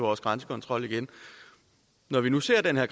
vores grænsekontrol igen når vi nu ser den her